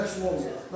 Yoxda kim olub?